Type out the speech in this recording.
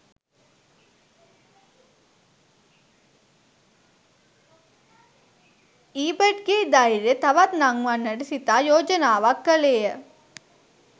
ඊබට්ගේ ධෛර්යය තවත් නංවන්නට සිතා යෝජනාවක් කළේය